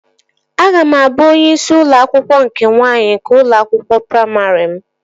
Aga m abụ onye isi ụlọ akwụkwọ nke nwaanyị nke ụlọ akwụkwọ praimarị m